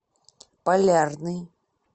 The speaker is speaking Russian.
полярный